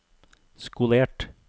skolert